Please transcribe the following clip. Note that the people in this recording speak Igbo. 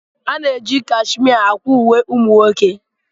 A na-eji cashimia akwa uwe ụmụ nwoke.